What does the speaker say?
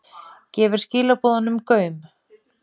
Gefur skilaboðunum gaum